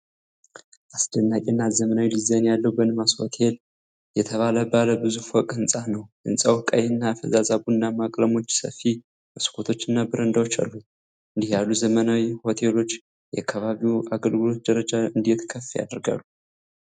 አስደናቂ እና ዘመናዊ ዲዛይን ያለው 'በንማስ ሆቴል' (Benmas Hotel) የተባለ ባለ ብዙ ፎቅ ሕንፃ ነው። ሕንጻው ቀይ እና ፈዛዛ ቡናማ ቀለሞችን ሰፊ መስኮቶችና በረንዳዎች አሉት። እንዲህ ያሉ ዘመናዊ ሆቴሎች የአካባቢውን አገልግሎት ደረጃ እንዴት ከፍ ያደርጋሉ?